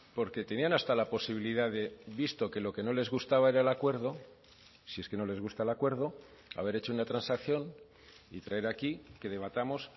porque tenían hasta la posibilidad de visto que lo que no les gustaba era el acuerdo si es que no les gusta el acuerdo haber hecho una transacción y traer aquí que debatamos